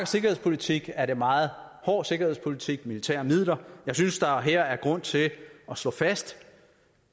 sikkerhedspolitik er det meget hård sikkerhedspolitik militære midler jeg synes at der her er grund til at slå fast